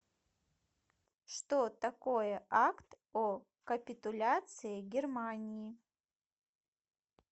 что такое акт о капитуляции германии